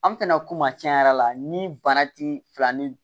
An tɛ na ko maa tiɲɛ yɛrɛ la ni bana ti fila ni